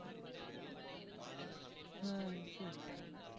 ஹம் சரி